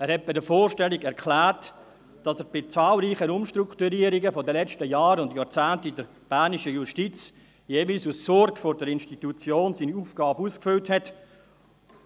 Er hat bei der Vorstellung erklärt, dass er bei zahlreichen Umstrukturierungen der letzten Jahre und Jahrzehnte in der bernischen Justiz jeweils aus Sorge um die Institution seine Aufgabe ausgefüllt